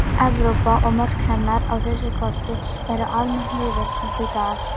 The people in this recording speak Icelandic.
Evrópa og mörk hennar á þessu korti eru almennt viðurkennd í dag.